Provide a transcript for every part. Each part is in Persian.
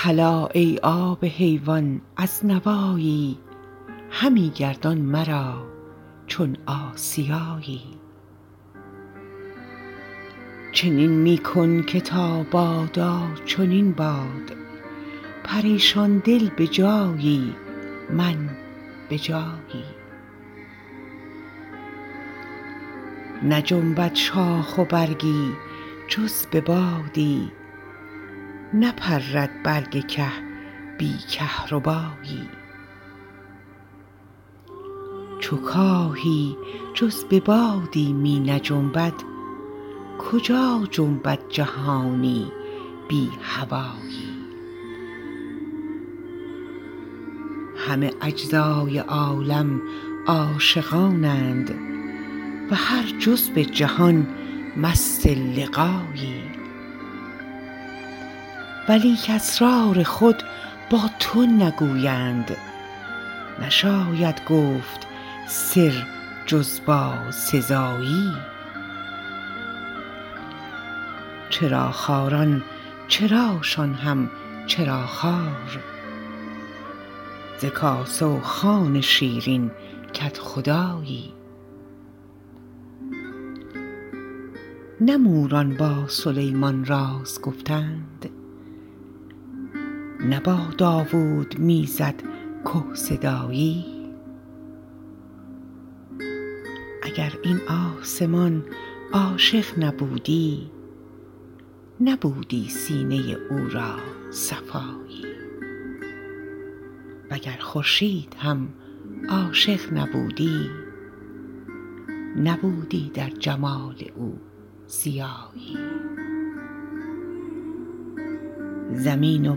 هلا ای آب حیوان از نوایی همی گردان مرا چون آسیایی چنین می کن که تا بادا چنین باد پریشان دل به جایی من به جایی نجنبد شاخ و برگی جز به بادی نپرد برگ که بی کهربایی چو کاهی جز به بادی می نجنبد کجا جنبد جهانی بی هوایی همه اجزای عالم عاشقانند و هر جزو جهان مست لقایی ولیک اسرار خود با تو نگویند نشاید گفت سر جز با سزایی چراخواران چراشان هم چراخوار ز کاسه و خوان شیرین کدخدایی نه موران با سلیمان راز گفتند نه با داوود می زد که صدایی اگر این آسمان عاشق نبودی نبودی سینه او را صفایی وگر خورشید هم عاشق نبودی نبودی در جمال او ضیایی زمین و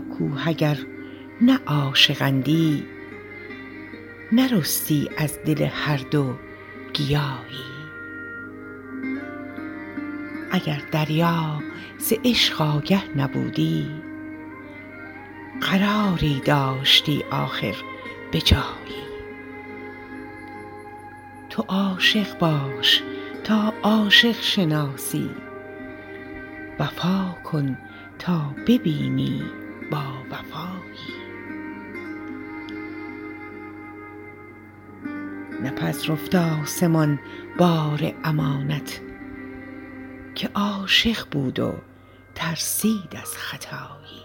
کوه اگر نه عاشق اندی نرستی از دل هر دو گیاهی اگر دریا ز عشق آگه نبودی قراری داشتی آخر به جایی تو عاشق باش تا عاشق شناسی وفا کن تا ببینی باوفایی نپذرفت آسمان بار امانت که عاشق بود و ترسید از خطایی